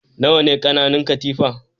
Nawa ne ƙananan katifa?